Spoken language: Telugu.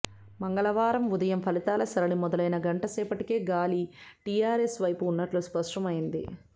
మంగళవారం ఉదయం ఫలితాల సరళి మొదలైన గంట సేపటికే గాలి టీఆర్ఎస్ వైపు ఉన్నట్లు స్పష్టమైంది